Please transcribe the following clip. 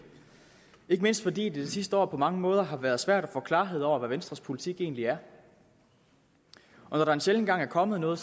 ikke mindst fordi det det sidste år på mange måder har været svært at få klarhed over hvad venstres politik egentlig er og når der en sjælden gang er kommet noget